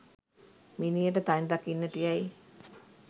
මිනියට තනි රකින්නට යැයි